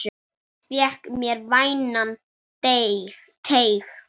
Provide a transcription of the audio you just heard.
Fékk mér vænan teyg.